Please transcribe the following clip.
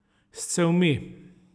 S cevmi.